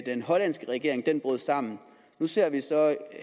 den hollandske regering brød sammen nu ser vi